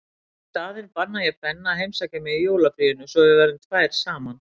Í staðinn banna ég Benna að heimsækja mig í jólafríinu svo við verðum tvær saman.